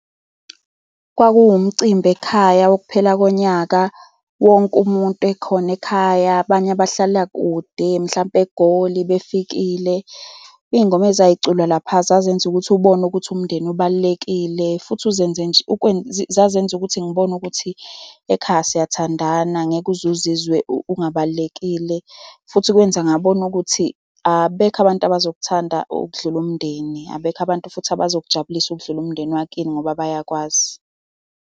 Kwakumcimbi ekhaya wokuphela konyaka. Wonke umuntu ekhona ekhaya. Abanye bahlala kude mhlampe eGoli befikile. Iy'ngoma ezayiculwa lapha zazenza ukuthi ubone ukuthi umndeni ubalulekile futhi uzenze nje zazenze ukuthi ngibone ukuthi ekhaya siyathandana, angeke uze uzizwe ungabalulekile. Futhi kwenze ngabona ukuthi abekho abantu abazokuthanda okudlula umndeni. Abekho abantu futhi abazokujabulisa ukudlula umndeni wakini ngoba bayakwazi.